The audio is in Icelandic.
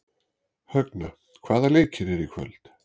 Högna, hvaða leikir eru í kvöld?